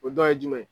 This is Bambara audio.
O dɔ ye jumɛn ye